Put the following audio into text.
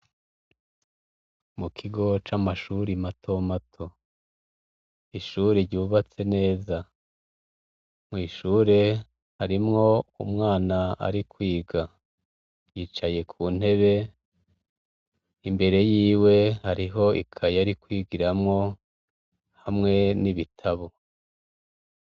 Mu kigo c'amashuri matomato, ishuri ryubatse neza, mw'ishuri harimwo umwana arikwiga yicaye kuntebe imbere yiwe hariho ikaye arikwigiramwo hamwe n'ibitabo.